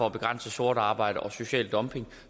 at begrænse sort arbejde og social dumping